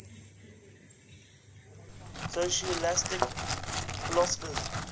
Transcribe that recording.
scholastic philosophers